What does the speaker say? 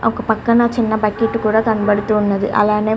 ఒక పక్కన చిన్న బక్కెట్ కూడా కనబడుతున్నది అలానే --